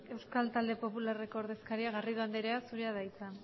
euskal talde popularreko ordezkaria garrido anderea zurea da hitza